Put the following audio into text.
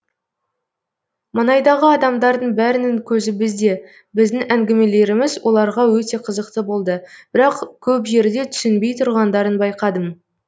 маңайдағы адамдардың бәрінің көзі бізде біздің әңгімелеріміз оларға өте қызықты болды бірақ көп жерде түсінбей тұрғандарын байқадым